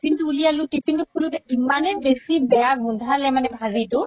tiffin তো উলিয়ালো tiffin তো খুলোতে ইমানে বেচি বেয়া গুন্ধালে মানে ভাজিতো